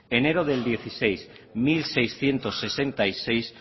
enero del dos mil dieciséis mil seiscientos sesenta y seis